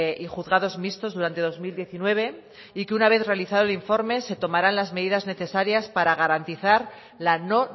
y juzgados mixtos durante dos mil diecinueve y que una vez realizado el informe se tomarán las medidas necesarias para garantizar la no